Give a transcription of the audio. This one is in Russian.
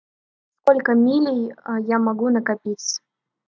сколько милей я могу накопить